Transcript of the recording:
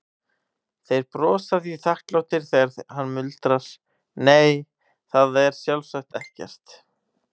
Þeir brosa því þakklátir þegar hann muldrar, nei, það er sjálfsagt ekkert.